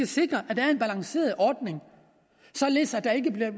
sikre at der er en balanceret ordning således at der ikke bliver